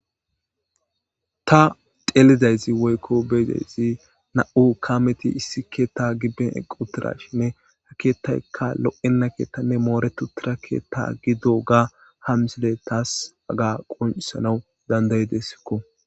Ta xeelidayzi woykko beyidayzi na'u kaameti issi keetta gibben eqqi uttirashinne ha keettaykka lo'enna keettanne mooretu uttida keetta gidoga ha misile taasi aga qoncisanawu dandayidessikko.